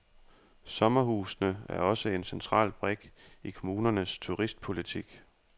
Sommerhusene er også en central brik i kommunernes turistpolitik.